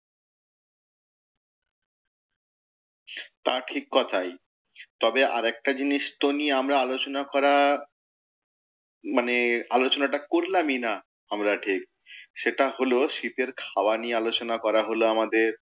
তা ঠিক কথাই। তবে আরেকটা জিনিস তো নিয়ে আমরা আলোচনা করা, মানে আলোচনাটা করলামই না আমরা ঠিক। সেটা হলও শীতের খাওয়া নিয়ে আলোচনা করা হলো আমাদের,